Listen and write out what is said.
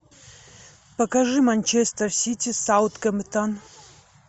покажи манчестер сити саутгемптон